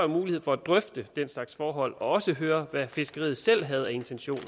mulighed for at drøfte den slags forhold og også høre hvad fiskeriet selv havde af intentioner